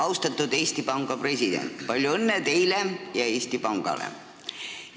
Austatud Eesti Panga president, palju õnne teile ja Eesti Pangale!